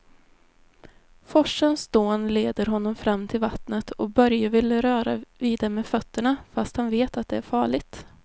Forsens dån leder honom fram till vattnet och Börje vill röra vid det med fötterna, fast han vet att det är farligt.